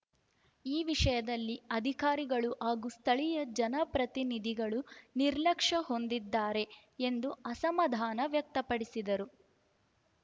ಈ ವಿಷಯದಲ್ಲಿ ಅಧಿಕಾರಿಗಳು ಹಾಗೂ ಸ್ಥಳೀಯ ಜನಪ್ರತಿನಿಧಿಗಳು ನಿರ್ಲಕ್ಷ್ಯ ಹೊಂದಿದ್ದಾರೆ ಎಂದು ಅಸಮಾಧಾನ ವ್ಯಕ್ತಪಡಿಸಿದರು